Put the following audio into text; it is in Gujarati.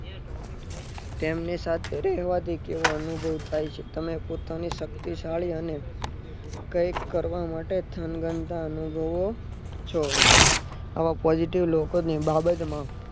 તેમની સાથે રહેવાથી કેવો અનુભવ થાય છે. તમે પોતાની શક્તિશાળી અને કઈક કરવા માટે થનગનતા અને છો. આવા positive લોકોની બાબતમાં